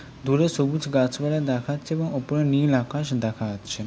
দূরে সবুজ গাছ পালা দেখাচ্ছে এবং ওপরে নীল আকাশ দেখা যাচ্ছে ।